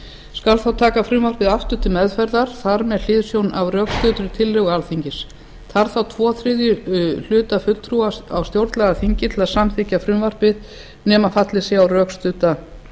skal þá taka frumvarpið þar aftur til meðferðar með hliðsjón af rökstuddri tillögu alþingis þarf þá tvo þriðju hluta fulltrúa á stjórnlagaþingi til að samþykkja frumvarpið nema fallist sé á rökstudda